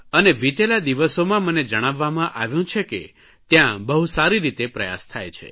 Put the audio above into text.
અને વીતેલા દિવસોમાં મને જણાવવામાં આવ્યું છે કે ત્યાં બહુ સારી રીતે પ્રયાસ થાય છે